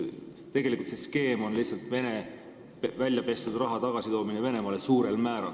Tegelikult on see skeem suurel määral lihtsalt Vene väljapestud raha tagasitoomine Venemaale.